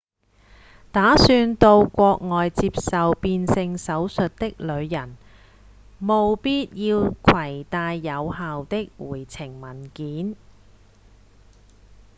打算到國外接受變性手術的旅人務必要攜帶有效的回程文件